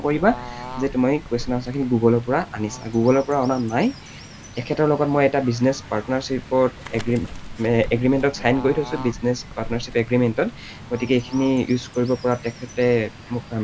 নকৰিবা যে তুমি question, answer খিনি গুগলৰ পৰা আনিছা। গুগলৰ পৰা অনা নাই, এখেতৰ লগত মই এটা business partnership agreement ত sign কৰি থৈছো গতিকে এইখিনি use কৰিব পৰা তেখেতে মোক permission